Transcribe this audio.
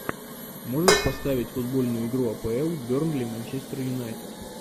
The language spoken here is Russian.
можешь поставить футбольную игру апл бернли манчестер юнайтед